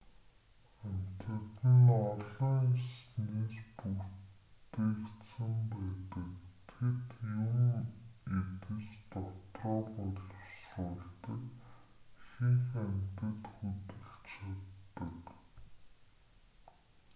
амьтад нь ололн эснээс бүтээгдсэн байдаг тэд юм идэж дотроо боловсруулдаг ихэнх амьтад хөдөлж чаддаг